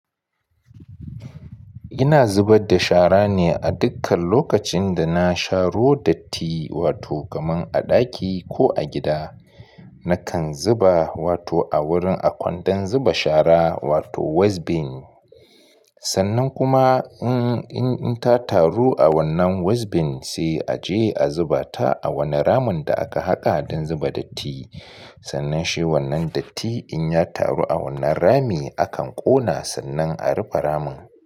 Ina zubar da shara ne a dukkan lokacin da na sharo datti, wato kamar a ɗaki ko a gida. Nakan zuba wato a wurin a kwandon zuba shara wato waste bin. Sannan kuma in ta taru a wannan waste bin sai a je a zuba ta a wanne ramin da aka haƙa don zuba datti. Sannan shi wannan datti in ya taru a wannan rami, akan ƙona sannan a rufe ramin.